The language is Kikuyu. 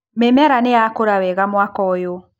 Mĩmera nĩyakũra wega mwaka ũyũ.